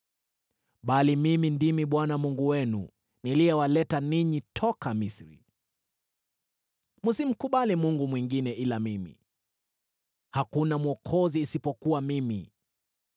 “Bali mimi ndimi Bwana Mungu wenu, niliyewaleta ninyi toka Misri. Msimkubali Mungu mwingine ila mimi, hakuna Mwokozi isipokuwa mimi.